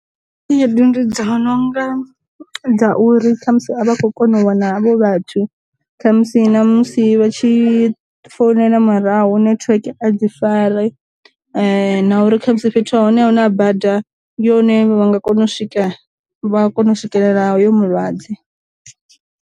Khaedu ndi dza nonga dza uri khamusi a vha khou kona u wana havho vhathu, khamusi na musi vha tshi founela muraho network a dzi fari, na uri khamusi fhethu hune a hu na bada yone vha nga kona u swika vha kona u swikelela hoyo mulwadze.